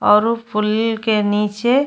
औरो पुल के नीचे --